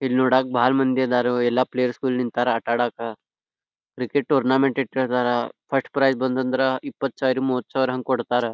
ಇಲ್ಲಿ ನೋಡಕ್ಕ ಬಹಳ್ ಮಂದಿ ಅದರೊ ಎಲ್ಲಾ ಪ್ಲೇಸ್ ಗಳು ನಿಂತ್ತರೋ ಆಟ ಆಡಕ್ಕ ಕ್ರಿಕೆಟ್ ಟೂರ್ನ್ಮೆಂಟ್ ಪ್ರಕಾರ ಫಸ್ಟ್ ಪ್ರೈಜ್ ಬಂದಂದ್ರ ಇಪ್ಪತ್ ಸಾವಿರ ಮೂವತ್ ಸಾವಿರ ಹಂಗ್ ಕೊಡತ್ತರ್.